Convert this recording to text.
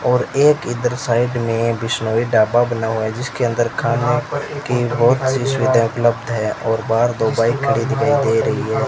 और एक इधर साइड में बिश्नोई ढाबा बना हुआ है जिसके अंदर खाने की बहुत सी सुविधा उपलब्ध है और बाहर दो बाइक खड़ी दिखाई दे रही है।